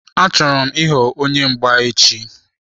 Achọrọ m ịghọ onye mgba echi.